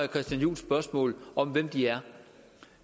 christian juhls spørgsmål om hvem de er